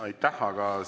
Aitäh!